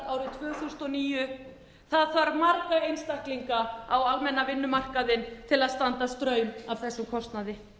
tvö þúsund og níu það þarf marga einstaklinga á almenna vinnumarkaðinn til að standa straum af þessum kostnaði